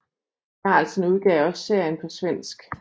Carlsen udgav også serien på svensk